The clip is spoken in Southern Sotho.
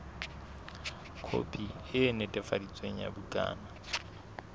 khopi e netefaditsweng ya bukana